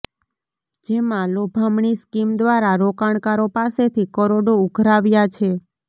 જેમાં લોભામણી સ્કીમ દ્વારા રોકાણકારો પાસેથી કરોડો ઉઘરાવ્યા છે